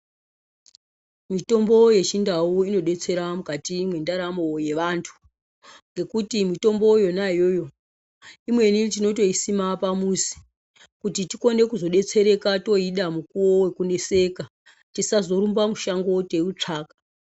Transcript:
Mitombo yechindau inodetsera mukati mwendaramo yecantu ngekuti mutombo yona iyoyo imweni tinotoisima pamuzi kuti tikone kuzodetsereka toida mukuwo wekuneseka tisazorumba mushango teiutsvaka.